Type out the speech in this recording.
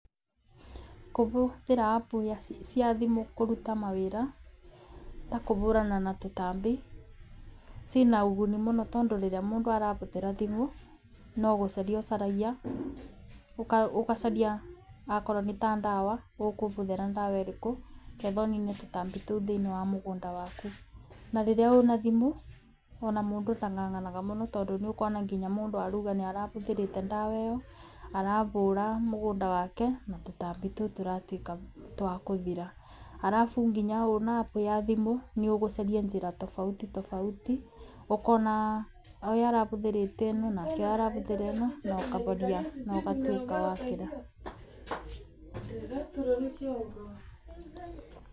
Kũbũthĩra app cia thimu kũruta mawĩra, ta kũbũrana na tũtambi cina ũguni mũno, tondũ rĩrĩa mũndũ arabũthĩra thimu nogũcaria ũcaragia, ũgacaria akorwo nĩ ta ndawa ũkũbũthĩra ndawa ĩrĩku ketha ũnine tũtambi tũu thĩiniĩ wa mũgũnda waku, na rĩrĩa ũna thimũ ona mũndũ ndang'ang'anaga mũno, tondũ nĩũkuona nginya mũndũ aroiga nĩarabũthĩrĩte ndawa ĩyo arabũra mũgũnda wake na tũtambi tũu tũratuĩka twakũthira, arabu nginya ũna app ya thimu nĩũgũcaria njĩra tofauti tofauti ũkona ũyũ arabũthĩrĩte ĩno, nake ũyũ arabũthĩra ĩno, na ũkageria na ũgatuĩka wakĩra.